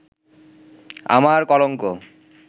আমার কলঙ্ক